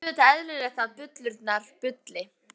Það er auðvitað eðlilegt að bullurnar bulli.